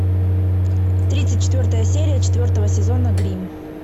тридцать четвертая серия четвертого сезона гримм